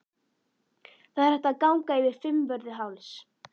Það er hægt að ganga yfir Fimmvörðuháls.